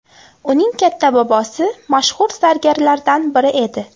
Uning katta bobosi mashhur zargarlardan biri edi.